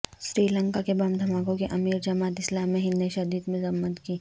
سری لنکا کے بم دھماکوں کی امیر جماعت اسلامی ہند نے شدید مذمت کی